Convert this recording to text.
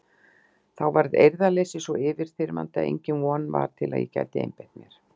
Þá varð eirðarleysið svo yfirþyrmandi að engin von var til að ég gæti einbeitt mér.